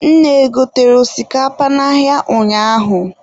Nne e gotere osikapa n'ahịa ụnyaahụ?